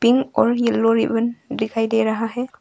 Pink और yellow ribbon दिखाई दे रहा है।